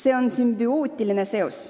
See on sümbiootiline seos.